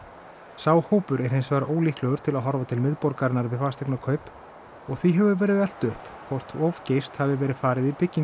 sá hópur er hins vegar líklegur til að horfa til miðborgarinnar við fasteignakaup og því hefur verið velt upp hvort of geyst hafi verið farið í byggingu